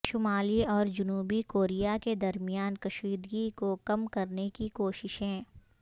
شمالی اور جنوبی کوریا کے درمیان کشیدگی کو کم کرنے کی کوششیں